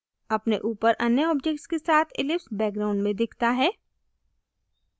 अपने ऊपर अन्य objects के साथ ellipse background में दिखता है